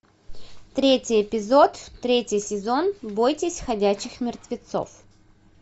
третий эпизод третий сезон бойтесь ходячих мертвецов